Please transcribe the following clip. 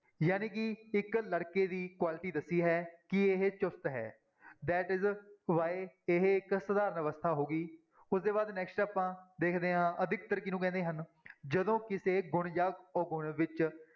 ਜਾਣੀ ਕਿ ਇੱਕ ਲੜਕੇ ਦੀ quality ਦੱਸੀ ਹੈ ਕਿ ਇਹ ਚੁਸਤ ਹੈ that is why ਇਹ ਇੱਕ ਸਧਾਰਨ ਅਵਸਥਾ ਹੋ ਗਈ ਉਸਦੇ ਬਾਅਦ next ਆਪਾਂ ਦੇਖਦੇ ਹਾਂ ਅਧਿਕਤਰ ਕਿਹਨੂੰ ਕਹਿੰਦੇ ਹਨ ਜਦੋਂ ਕਿਸੇ ਗੁਣ ਜਾਂ ਔਗੁਣ ਵਿੱਚ